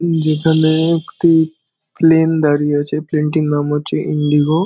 যেখানে একটি প্লেন দাঁড়িয়ে আছে। প্লেনটির নাম হচ্চে ইন্ডিগো ।